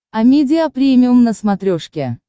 амедиа премиум на смотрешке